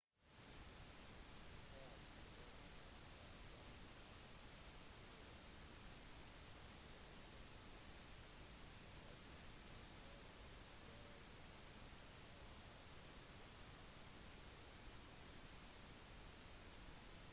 ifølge historien var motivasjonen hans å få berømmelse til enhver pris efeserne kunngjorde opprørt at heroinatus navn aldri skulle bli registrert